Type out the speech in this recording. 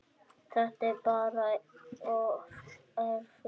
Þetta er bara of erfitt.